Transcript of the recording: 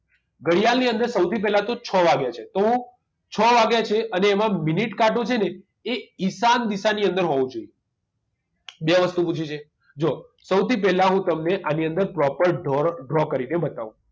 ઘડિયાળ ની અંદર સૌથી પહેલા તો છ વાગ્યા છે તો છ વાગ્યા છે અને એમાં મિનિટ કાંટો છે ને એ ઈશાન દિશાની અંદર હોવો જોઈએ બે વસ્તુ પૂછી છે જો સૌથી પહેલા હું તમને આની અંદર proper draw draw કરીને બતાવુ